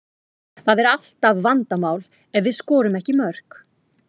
Það er alltaf vandamál ef við skorum ekki mörk.